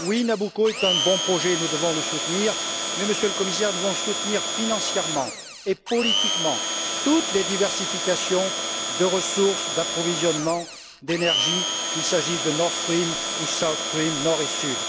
Oui, Nabucco est un bon projet, et nous devons le soutenir, mais, Monsieur le Commissaire, nous devons soutenir financièrement et politiquement toutes les diversifications de sources d'approvisionnement en énergie, qu'il s'agisse de Nord Stream ou de South Stream du Nord ou du Sud.